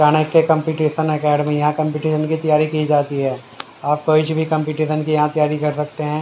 Chanakya competition academy यहां competition की तैयारी की जाती है। आप कोई सी भी कंपटीशन की यहां तैयारी कर सकते है।